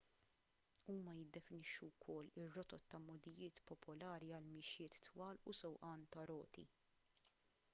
huma jiddefinixxu wkoll ir-rotot ta' mogħdijiet popolari għal mixjiet twal u sewqan tar-roti